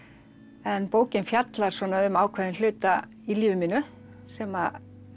en bókin fjallar um ákveðinn hluta í lífi mínu sem